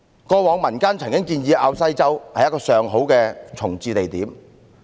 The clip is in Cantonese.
過往民間曾提出滘西洲是一個上好的重置地點。